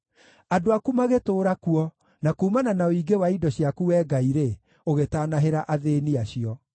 Andũ aku magĩtũũra kuo, na kuumana na ũingĩ wa indo ciaku, Wee Ngai-rĩ, ũgĩtanahĩra athĩĩni acio.